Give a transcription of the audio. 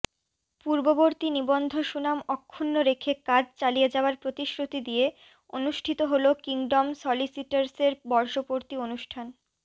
পূর্ববর্তী নিবন্ধসুনাম অক্ষুণ্ণ রেখে কাজ চালিয়ে যাওয়ার প্রতিশ্রুতি দিয়ে অনুষ্ঠিত হলো কিংডম সলিসিটরসের বর্ষপূতি অনুষ্টান